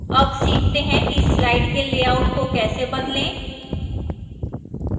अब सीखते हैं कि slide के layout को कैसे बदलें